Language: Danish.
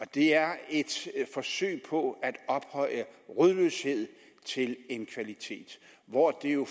det er et forsøg på at ophøje rodløshed til en kvalitet hvor det jo